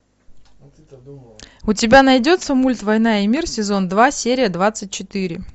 у тебя найдется мульт война и мир сезон два серия двадцать четыре